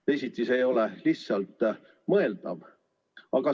Teisiti see ei ole lihtsalt mõeldav.